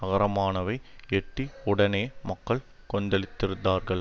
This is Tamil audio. நகரமானவை எட்டி உடனே மக்கள் கொதித்திருந்தார்கள்